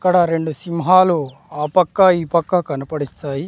ఇక్కడ రెండు సింహాలు ఆపక్క ఈ పక్క కనపడిస్తాయి.